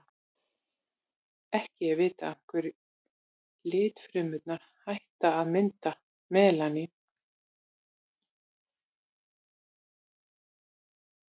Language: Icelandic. ekki er vitað af hverju litfrumurnar hætta að mynda melanín